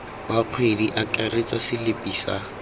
wa kgwedi akaretsa selipi sa